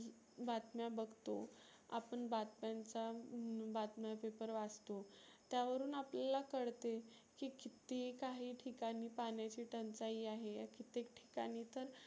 बातम्या बघतो आपण बातम्यांचा बातम्या paper वाचतो. त्यावरुण आपल्याला कळते की किती काही ठिकाणी पाण्याची टंचाई आहे. कित्तेक ठिकाणी तर